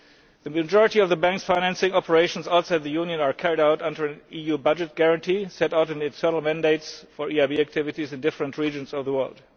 The majority of the Bank's financing operations outside the Union are carried out under an EU budget guarantee set out in its external mandates for EIB activities in different regions of the world.